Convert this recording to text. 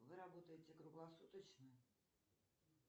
вы работаете круглосуточно